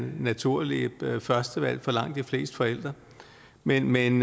naturlige førstevalg for langt de fleste forældre men men